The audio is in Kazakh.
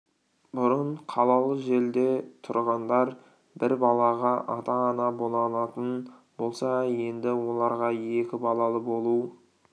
бұрын қалалы жерде тұрғындар бір балаға ата-ана бола алатын болса енді оларға екі балалы болу